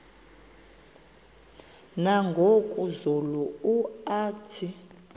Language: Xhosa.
nangoku zulu uauthi